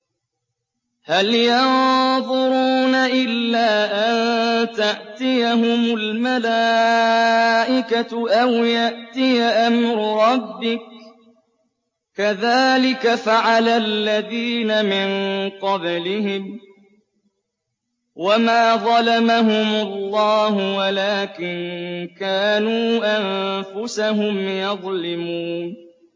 هَلْ يَنظُرُونَ إِلَّا أَن تَأْتِيَهُمُ الْمَلَائِكَةُ أَوْ يَأْتِيَ أَمْرُ رَبِّكَ ۚ كَذَٰلِكَ فَعَلَ الَّذِينَ مِن قَبْلِهِمْ ۚ وَمَا ظَلَمَهُمُ اللَّهُ وَلَٰكِن كَانُوا أَنفُسَهُمْ يَظْلِمُونَ